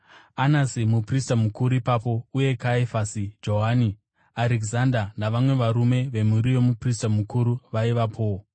Anasi muprista mukuru aivapo, uye Kayafasi Johani, Arekizanda navamwe varume vemhuri yomuprista mukuru vaivapowo.